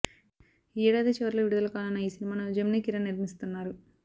ఈ ఏడాది చివర్లో విడుదల కానున్న ఈ సినిమాను జెమిని కిరణ్ నిర్మిస్తున్నారు